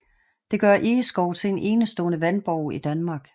Det gør Egeskov til en enestående vandborg i Danmark